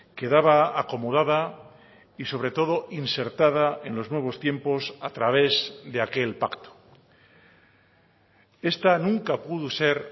quedaba acomodada y sobre todo insertada en los nuevos tiempos a través de aquel pacto esta nunca pudo ser